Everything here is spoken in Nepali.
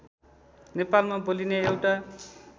नेपालमा बोलिने एउटा